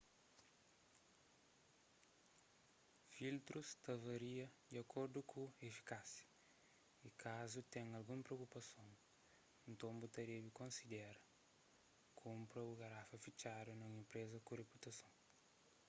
filtrus ta varia di akordu ku efikásia y kazu ten algun preokupason nton bu debe konsidera kunpra bu garafa fitxadu na un enpresa ku riputason